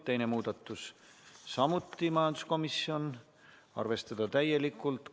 Teine muudatusettepanek, samuti majanduskomisjonilt, seisukoht: arvestada täielikult.